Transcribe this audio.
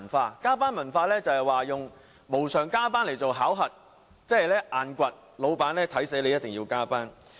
所謂加班文化，是用無償加班作考核，即"硬掘"，老闆就知道你一定須加班。